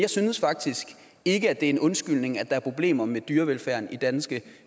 jeg synes faktisk ikke at det er en undskyldning at der er problemer med dyrevelfærden i danske